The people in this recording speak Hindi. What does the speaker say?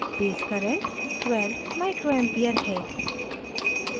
base current 12ua micro ampere है